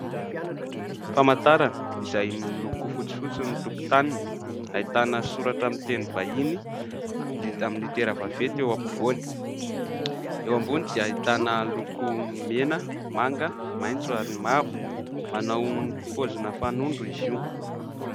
Famantarana izay miloko fotsifotsy ny tokotaniny, ahitana soratra amin'ny teny vahiny vita amin'ny litera vaventy eo ampovoany, eo ambony dia ahitana loko mena, manga, maitso ary mavo, manao paozina fanondro izy io.